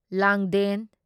ꯂꯥꯡꯗꯦꯟ